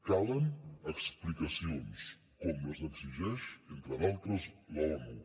calen explicacions com les exigeix entre d’altres l’onu